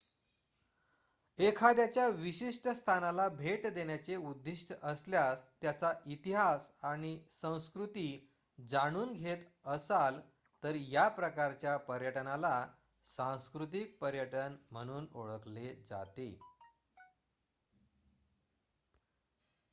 1 एखाद्याच्या विशिष्ट स्थानाला भेट देण्याचे उद्दीष्ट असल्यास त्याचा इतिहास आणि संस्कृती जाणून घेत असाल तर या प्रकारच्या पर्यटनाला सांस्कृतिक पर्यटन म्हणून ओळखले जाते